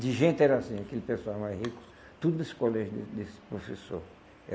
De gente era assim, aquele pessoal mais rico, tudo desse colégio de desse professor.